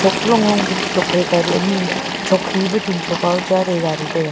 long long pe tokphai kaw dut ani sok he pe chun thow kaw ma chaa dai gari taiga.